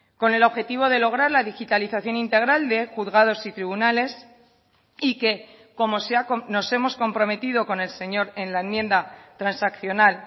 con el objetivo de lograr la digitalización integral de juzgados y tribunales y que como nos hemos comprometido con el señor en la enmienda transaccional